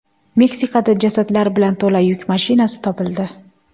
Meksikada jasadlar bilan to‘la yuk mashinasi topildi.